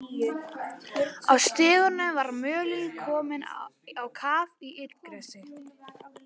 Á stígnum var mölin komin á kaf í illgresi.